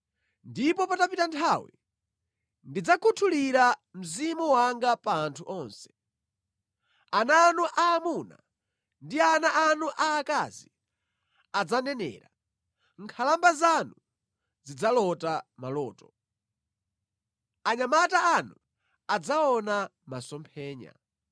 “Ndipo patapita nthawi, ndidzakhuthulira Mzimu wanga pa anthu onse. Ana anu aamuna ndi ana anu aakazi adzanenera, nkhalamba zanu zidzalota maloto, anyamata anu adzaona masomphenya.